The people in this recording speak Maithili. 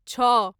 छओ